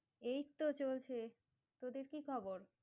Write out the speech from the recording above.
এই তো চলছে, তোদের কি খবর?